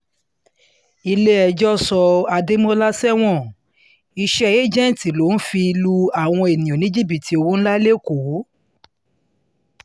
ilé-ẹjọ́ sọ adémọ́lá sẹ́wọ̀n iṣẹ́ ẹ̀jẹ̀ǹtì ló fi lu àwọn èèyàn ní jìbìtì owó ńlá lẹ́kọ̀ọ́